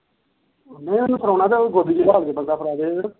ਨਹੀ ਉਹਨੂੰ ਫੜਾਉਣਾ ਤਾ ਗੋਦੀ ਚ ਬਹਾ ਕੇ ਫੜਾ ਦੇਵੇ